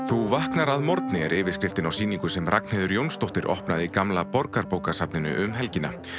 þú vaknar á morgni er yfirskriftin á sýningu sem Ragnheiður Jónsdóttir hefur opnað í gamla Borgarbókasafninu um helgina